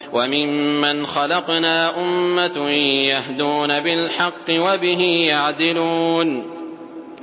وَمِمَّنْ خَلَقْنَا أُمَّةٌ يَهْدُونَ بِالْحَقِّ وَبِهِ يَعْدِلُونَ